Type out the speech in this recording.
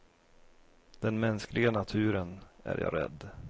Den mänskliga naturen, är jag rädd.